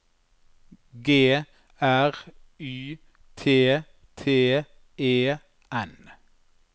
G R Y T T E N